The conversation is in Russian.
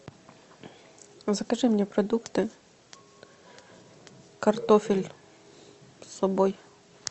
закажи мне продукты картофель с собой